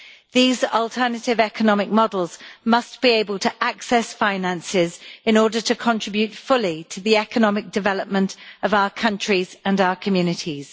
These alternative economic models must be able to access finances in order to contribute fully to the economic development of our countries and our communities.